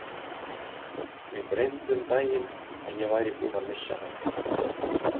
Mig dreymdi um daginn að ég væri búinn að missa hann.